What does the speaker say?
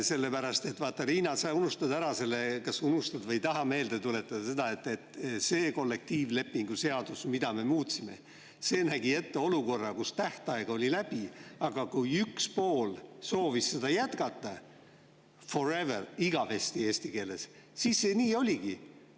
Sellepärast et, vaata, Riina, sa unustad ära selle – kas unustad või ei taha meelde tuletada –, et see kollektiivlepingu seadus, mida me muutsime, nägi ette olukorra, kus tähtaeg oli läbi, aga kui üks pool soovis seda jätkata forever, eesti keeles igavesti, siis see nii oligi.